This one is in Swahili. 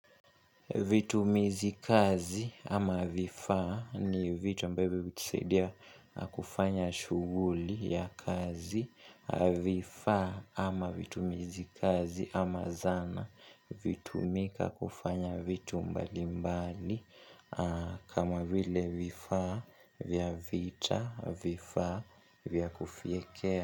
Vitumizi kazi ama vifa ni vitu ambavyo vikisaidia kufanya shuguli ya kazi. Vifa ama vitumizi kazi ama zana. Hutumika kufanya vitu mbali mbali. Kama vile vifa vya vita na vifa vya kufiekea.